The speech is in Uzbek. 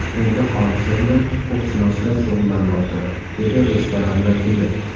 Endi hodisa bilan huquqshunoslar shug‘ullanmoqda, dedi restoran vakili.